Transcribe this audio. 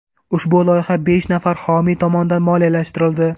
Ushbu loyiha besh nafar homiy tomonidan moliyalashtirildi.